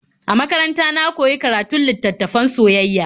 A makaranta na koyi karatun littattafan soyayya.